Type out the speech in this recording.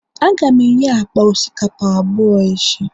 Aga m enye akpa osikapa abụọ echi